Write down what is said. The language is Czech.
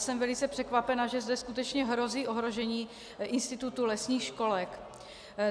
Jsem velice překvapena, že zde skutečně hrozí ohrožení institutu lesních školek.